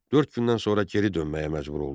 Dörd gündən sonra geri dönməyə məcbur oldu.